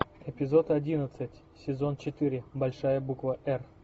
эпизод одиннадцать сезон четыре большая буква р